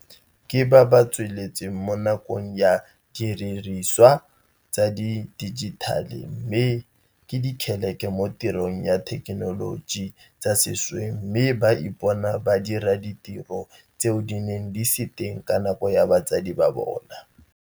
Ke ba ba tsaletsweng mo nakong ya didiriswa tsa di dijithale mme ke dikgeleke mo tirisong ya dithekenoloji tsa sešweng mme ba ipona ba dira ditiro tseo di neng di se teng ka nako ya batsadi ba bona.